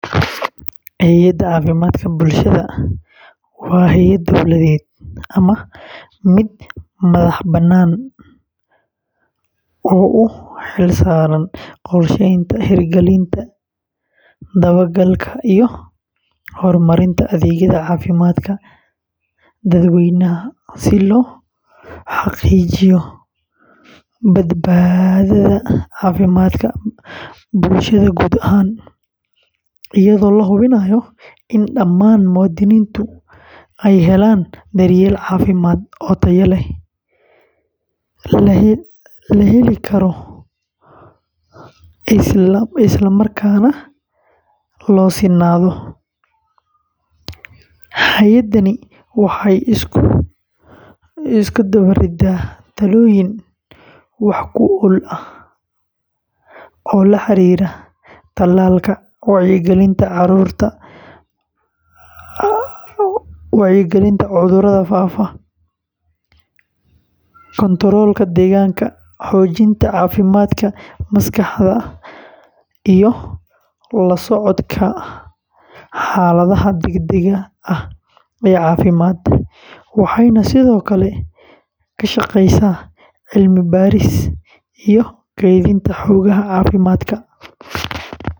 Hay’adda caafimaadka bulshada waa hay’ad dawladeed ama mid madaxbannaan oo u xilsaaran qorsheynta, hirgelinta, dabagalka, iyo horumarinta adeegyada caafimaadka dadweynaha si loo xaqiijiyo badbaadada caafimaadka bulshada guud ahaan, iyadoo la hubinayo in dhammaan muwaadiniintu helaan daryeel caafimaad oo tayo leh, la heli karo, isla markaana loo sinnaado; hay’addani waxay isku dubariddaa talaabooyin wax ku ool ah oo la xiriira tallaalka, wacyigelinta cudurrada faafa, kantaroolka deegaanka, xoojinta caafimaadka maskaxda, iyo la socodka xaaladaha degdegga ah ee caafimaad, waxayna sidoo kale ka shaqaysaa cilmi-baaris iyo kaydinta xogaha caafimaadka.